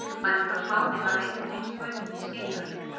Bændur á Spáni hafa einnig reynst gaupunni skeinuhættir.